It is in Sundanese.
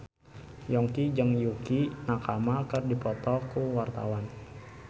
Yongki jeung Yukie Nakama keur dipoto ku wartawan